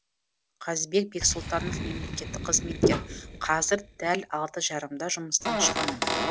қазыбек бексұлтанов мемлекеттік қызметкер қазір дәл алты жарымда жұмыстан шығамын